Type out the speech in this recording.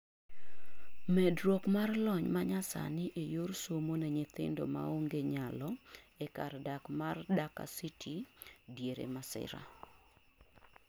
medruok mar lony manyasani e yor somo ne nyithindo maonge nyalo e kar dak ma Dhaka city diere masira